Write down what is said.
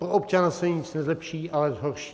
Pro občana se nic nezlepší, ale zhorší.